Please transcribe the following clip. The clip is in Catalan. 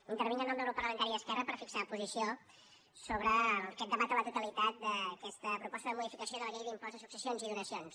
intervinc en nom del grup parlamentari d’esquerra per fixar posició sobre aquest debat a la totalitat d’aquesta proposta de modificació de la llei de l’impost de successions i donacions